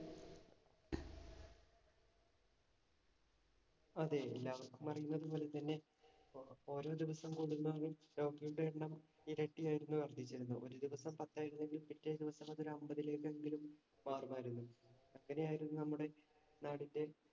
അതെ എല്ലാവർക്കും അറിയുന്നതുപോലെ തന്നെ ഓരോ ദിവസം കൂടുന്തോറും രോഗികളുടെ എണ്ണം ഇരട്ടിയായിരുന്നു വർദ്ധിച്ചിരുന്നത്. ഒരു ദിവസം പത്ത് ആയിരുന്നെങ്കിൽ പിറ്റേ ദിവസം അത് ഒരു അമ്പതിലേക്ക് എങ്കിലും മാറുമായിരുന്നു. അങ്ങനെയായിരുന്നു നമ്മടെ നാടിന്‍റെ